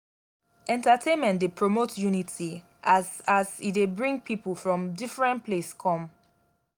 entertainment dey promote unity as as e dey bring pipo from differen place come.